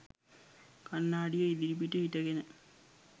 කණ්නාඩිය ඉදිරිපිට හිටගෙන